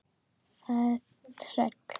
Það er tröll.